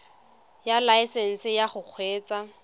ya laesesnse ya go kgweetsa